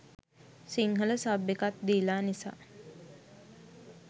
Sinhala sub එකත් දීලා නිසා